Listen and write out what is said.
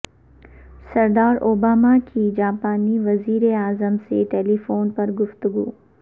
صدر اوباما کی جاپانی وزیر اعظم سے ٹیلی فون پر گفتگو